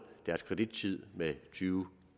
deres kredittid med tyve